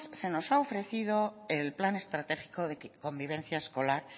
se nos ha ofrecido el plan estratégico de convivencia escolar